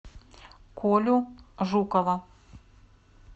колю жукова